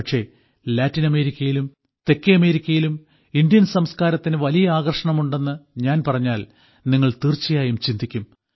പക്ഷേ ലാറ്റിൻ അമേരിക്കയിലും തെക്കേ അമേരിക്കയിലും ഇന്ത്യൻ സംസ്കാരത്തിന് വലിയ ആകർഷണമുണ്ടെന്ന് ഞാൻ പറഞ്ഞാൽ നിങ്ങൾ തീർച്ചയായും ചിന്തിക്കും